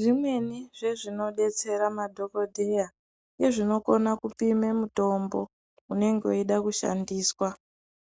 Zvimweni zvezvinodetsera madhokodheya nezvinokona kupime mutombo unenge weide kushandiswa